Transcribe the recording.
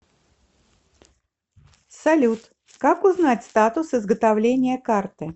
салют как узнать статус изготовления карты